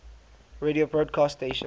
radio broadcast stations